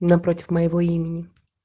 напротив моего имени